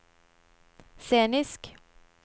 scenisk